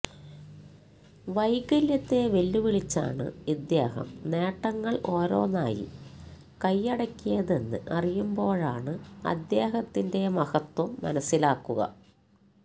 വൈകല്യത്തെ വെല്ലുവിളിച്ചാണ് ഇദ്ദേഹം നേട്ടങ്ങള് ഓരോന്നായി കൈയ്യടക്കിയതെന്ന് അറിയുമ്പോഴാണ് അദ്ദേഹത്തിന്റെ മഹത്വം മനസ്സിലാകുക